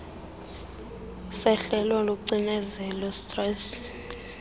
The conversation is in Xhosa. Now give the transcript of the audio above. sehlelwe lucinezelo stress